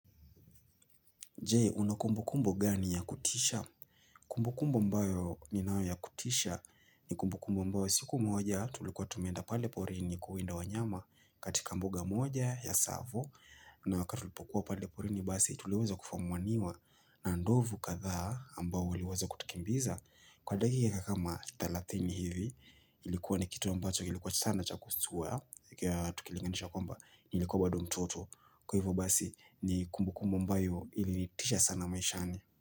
Je, una kumbukumbu gani ya kutisha? Kumbukumbu ambayo ninayo ya kutisha ni kumbukumbu ambayo siku moja tulikuwa tumeenda pale porini kuwinda wanyama katika mbuga moja ya Tsavo na wakati tulipokuwa pale porini basi tuliweza kufumaniwa na ndovu kadhaa ambao waliweza kutukimbiza. Kwa dakika kama 30 hivi ilikuwa ni kitu ambacho ilikuwa sana cha kusuwa Tukilinganisha kwamba nilikuwa bado mtoto Kwa hivyo basi ni kumbukumbu ambayo ilitisha sana maishani.